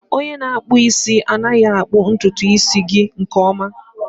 Onye na-akpụ isi anaghị akpụ ntutu isi gị nke ọma